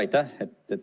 Aitäh!